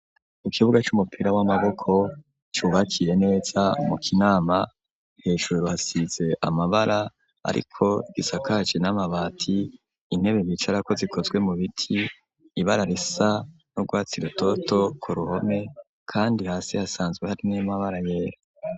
Ku kibuga c'umupira w'amaboko cubakiye nesa mu kinama. Hejuru hasize amabara ariko gisakaci n'amabati intebe bicarako zikozwe mu biti ibara risa nu Rwatsi rutoto ku ruhome kandi hasi hasanzwe hari n'amabara yera.